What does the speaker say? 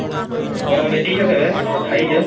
କରା ଦେଖିଚ କେବେ ଖାଇଚ